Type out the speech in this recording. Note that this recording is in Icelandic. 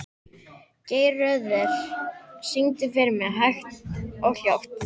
Geirröður, syngdu fyrir mig „Hægt og hljótt“.